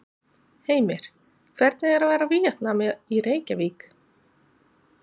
Heimir: Hvernig er að vera Víetnami í Reykjavík?